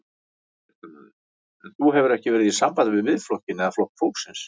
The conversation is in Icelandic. Fréttamaður: En þú hefur ekki verið í sambandi við Miðflokkinn eða Flokk fólksins?